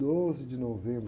doze de novembro.